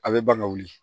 A bɛ ban ka wuli